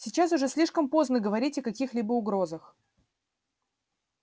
сейчас уже слишком поздно говорить о каких-либо угрозах